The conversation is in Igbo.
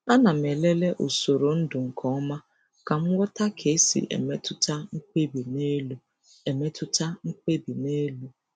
A na m elele usoro ndu nke ọma ka m ghọta ka esi emetụta mkpebi n'elu. emetụta mkpebi n'elu.